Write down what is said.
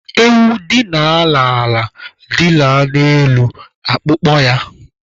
Ewu dila n'ala, dila n'elu akpụkpọ ya